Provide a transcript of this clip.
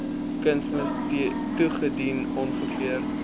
kunsmis toegedien ongeveer